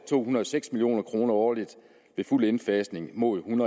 to hundrede og seks million kroner årligt til fuld indfasning mod en